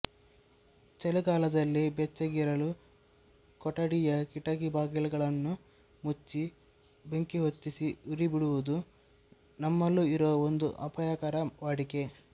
ಚಳಿಗಾಲದಲ್ಲಿ ಬೆಚ್ಚಗಿರಲು ಕೊಠಡಿಯ ಕಿಟಕಿ ಬಾಗಿಲುಗಳನ್ನು ಮುಚ್ಚಿ ಬೆಂಕಿ ಹೊತ್ತಿಸಿ ಉರಿಯಬಿಡುವುದು ನಮ್ಮಲ್ಲೂ ಇರುವ ಒಂದು ಅಪಾಯಕರ ವಾಡಿಕೆ